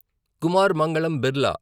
Kumar Mangalam Birla